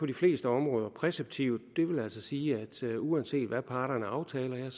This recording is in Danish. de fleste områder præceptivt det vil altså sige at uanset hvad parterne aftaler er